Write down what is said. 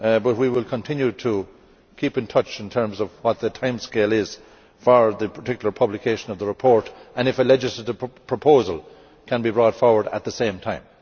We will continue to keep in touch in terms of what the timescale is for the particular publication of the report, and on whether a legislative proposal can be brought forward at the same time.